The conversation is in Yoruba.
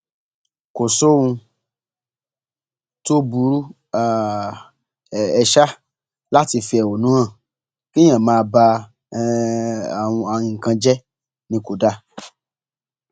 kò sóhun tó burú um láti fi ẹhónú hàn kéèyàn máa ba um nǹkan jẹ ni kò dáa